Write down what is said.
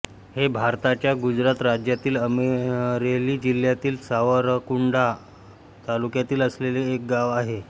हे भारताच्या गुजरात राज्यातील अमरेली जिल्ह्यातील सावरकुंडला तालुक्यात असलेले एक गाव आहे